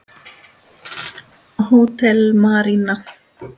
Hótel Marína.